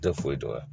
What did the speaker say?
Tɛ foyi dɔn wa